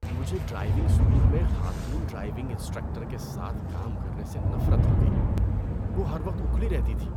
مجھے driving school میں خاتون ڈرائیونگ انسٹرکٹر کے ساتھ کام کرنے سے نفرت ہو گئی۔ وہ ہر وقت اکھڑی رہتی تھی۔